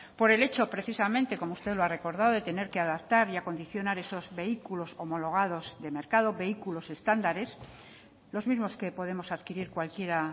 por el hecho precisamente como usted lo ha recordado de tener que adaptar y condiciones esos vehículos homologados de mercado vehículos estándares los mismos que podemos adquirir cualquiera